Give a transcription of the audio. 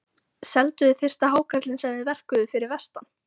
Selduð þið fyrsta hákarlinn sem þið verkuðuð fyrir vestan?